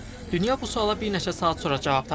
Dünya bu suala bir neçə saat sonra cavab tapdı.